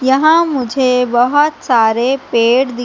यहाँ मुझे बहोत सारे पेड़ दि--